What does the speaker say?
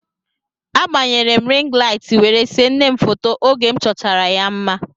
A gbanyere m rịng laịt were see nne m foto oge m chọchara ya mma.